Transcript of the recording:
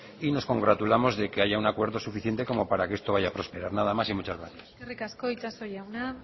y nos congratulamos de que haya un acuerdo suficiente como para que esto vaya a prosperar nada más y muchas gracias eskerrik asko itxaso jauna